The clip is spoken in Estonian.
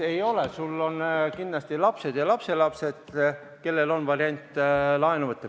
Ei ole, sul on kindlasti lapsed ja lapselapsed, kelle üks variante on laenu võtta.